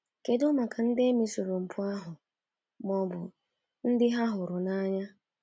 Kedụ maka ndị e mesoro mpụ ahụ ma ọ bụ ndị ha hụrụ n’anya?